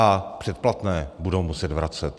A předplatné budou muset vracet.